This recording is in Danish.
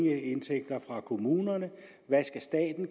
indtægter fra kommunerne hvad staten